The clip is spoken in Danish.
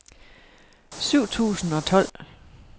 syv tusind og tolv